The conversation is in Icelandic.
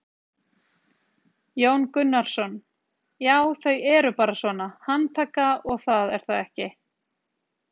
Jón Gunnarsson: Já þau eru bara svona, handtaka og það er ekki?